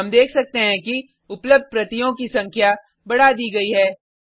हम देख सकते हैं कि उपलब्ध प्रतियों की संख्या बड़ा दी गयी है